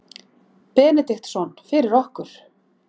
Benediktsson fyrir okkur.